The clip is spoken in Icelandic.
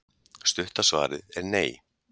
stutta svarið er nei